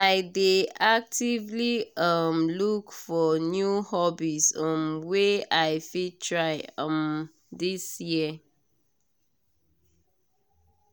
i dey actively um look for new hobbies um wey i fit try um this year.